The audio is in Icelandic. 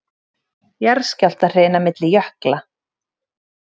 Jarðskjálftahrina milli jökla